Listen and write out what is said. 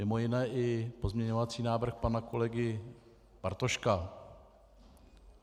Mimo jiné i pozměňovací návrh pana kolegy Bartoška.